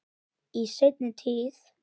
Í seinni tíð.